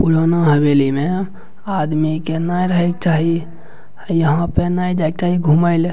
पुराना हवेली में आदमी के ने रहे के चाही यहां पे ने जाय के चाही घूमे ले।